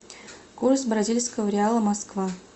курс бразильского реала москва